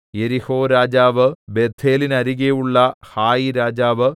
യെരിഹോരാജാവ് ബേഥേലിന്നരികെയുള്ള ഹായിരാജാവ്